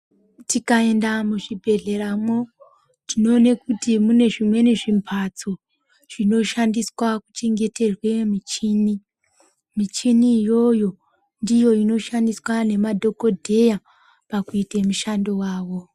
Tikaenda muzvibhedhleramwo tinoona kuti mune zvimweni zvimbatso zvinoshandiswa kuchengeterwe michini michini iyoyo ndiyo inoshandiswa nemadhokodheya pakuite mishando wao.